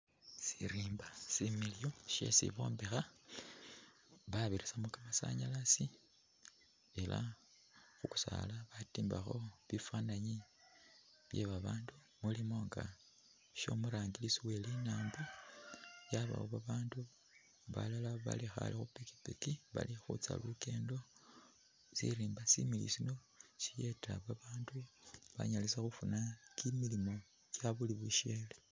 Sirimba similiyu shesi bombekha babisisamo kamasanyalasi elah khukusala batimbakho bifani bye babandu mulimo shomurangirisi welinambo, waliwo babandu bali khale khupikipiki balikhutsa lukendo, sirimba sino siyeta babandu banyalisa khufuna kimilimo kyabushele